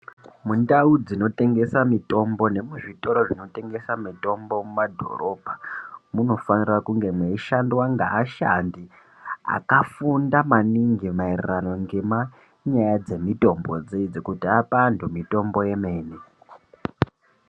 Mundau dzinotengesa mitombo nemuzvitoro zvinotengesa mitombo mumadhorobha munofanira kunge meishandwa ngeashandi akafunda maningi maererano ngemanyaya dzemitombodzidzi kuti ape antu mitombo yemene.